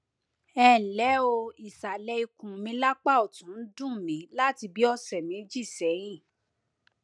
ẹnlẹ o ìsàlẹ ikùn mi lápá ọtún ń dùn mí láti bíi ọsẹ méjì sẹyìn